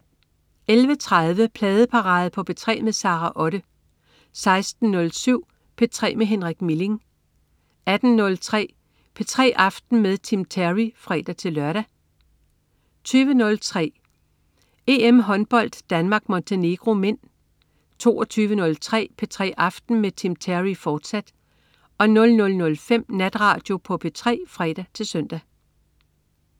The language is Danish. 11.30 Pladeparade på P3 med Sara Otte 16.07 P3 med Henrik Milling 18.03 P3 aften med Tim Terry (fre-lør) 20.03 EM-håndbold: Danmark-Montenegro (m) 22.03 P3 aften med Tim Terry, fortsat 00.05 Natradio på P3 (fre-søn)